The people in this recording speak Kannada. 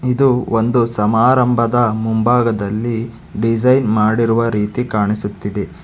ಇದು ಒಂದು ಸಮಾರಂಭದ ಮುಂಭಾಗದಲ್ಲಿ ಡಿಸೈನ್ ಮಾಡಿರುವ ರೀತಿ ಕಾಣಿಸುತ್ತಿದೆ.